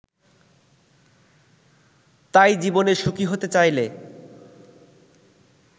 তাই জীবনে সুখী হতে চাইলে